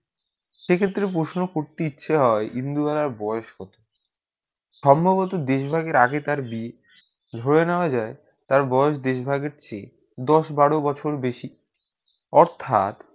সেই ক্ষেত্রে প্রশ্ন করতে ইচ্ছা হয়ে ইন্দুবালা বয়েস কত সম্ভবত দেশ ভাগে আগে তার বিয়ে হয়ে না যায় তার বয়েস বেশি ভাগ হচ্ছে দশ বারো বছর বেশি অর্থাৎ